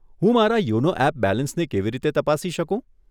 હું મારા YONO app બેલેન્સને કેવી રીતે તપાસી શકું?